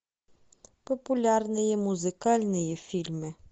популярные музыкальные фильмы